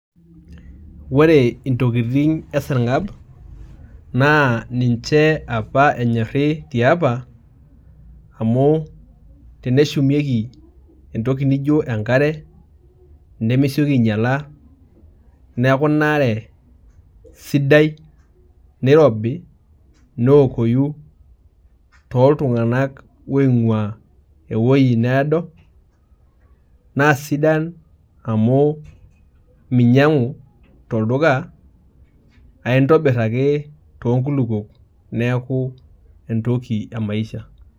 Ore intokiting e sarng'ab, naa ninche apa enyorri tiapa, amu teneshumieki entoki nijo enkare, nemesioki ainyala, neeku inaare sidai, nirobi, neokoyu toltung'anak oing'ua ewoi needo, naa sidan amu minyang'u tolduka, aintobir ake tonkulukuok neeku entoki emaisha.